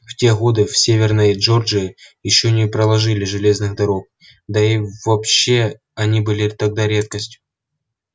в те годы в северной джорджии ещё не проложили железных дорог да и вообще они были тогда редкостью